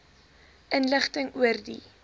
inligting oor die